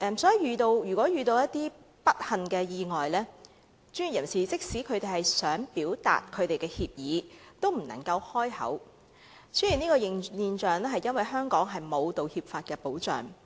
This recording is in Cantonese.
所以，如果遇上不幸意外的事宜，專業人士即使想表達歉意也不能開口，出現這種現象，是由於香港沒有道歉法的保障。